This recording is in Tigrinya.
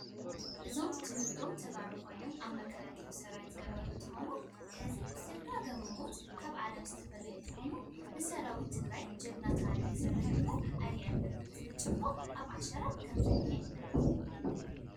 እዞም ትውልዶም ተጋሩ ኮይኑ ናይ መካላክሊ ስራዊት ዝነበሩ እንትከው ሕዝ ብዝጋጠሞም ሞት ካብ ዓለም ዝተፈለዩ እንትኮኑ ንሰራዊት ትበግራይ ጅግና ታሪኽ ይሰርሕ እንበር ኣይነብር !ዝብል ጭርሖ ኣብ ሻራ ከም ዝንህ